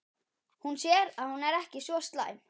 Hún sér að hún er ekki svo slæm.